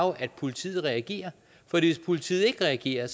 at politiet reagerer fordi hvis politiet ikke reagerer